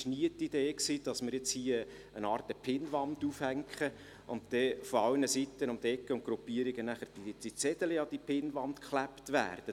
Es war nie die Idee, dass wir hier eine Art Pinnwand aufhängen und aus allen Ecken und Gruppierungen Zettelchen an diese Pinnwand geklebt werden.